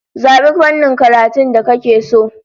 Zabi fannin karatun da kake so!